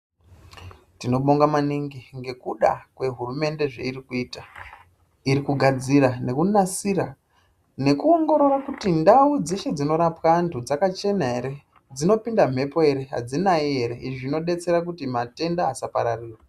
Tinobonga maningi, ngekuda kwehurumende zveirikuita. Irikugadzira nekunasira nekuongorora kuti ndau dzeshe dzinorapwa antu dzakachena ere, dzinopinda mhepo ere, adzinayi ere. Izvi zvinodetsera kuti matenda asapararire.